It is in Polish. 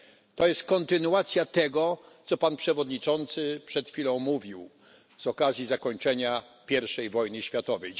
To jest kontynuacja tego, co Pan Przewodniczący przed chwilą mówił z okazji zakończenia pierwszej wojny światowej.